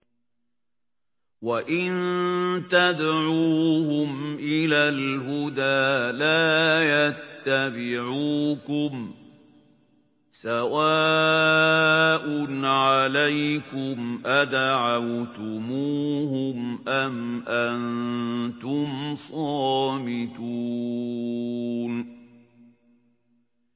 وَإِن تَدْعُوهُمْ إِلَى الْهُدَىٰ لَا يَتَّبِعُوكُمْ ۚ سَوَاءٌ عَلَيْكُمْ أَدَعَوْتُمُوهُمْ أَمْ أَنتُمْ صَامِتُونَ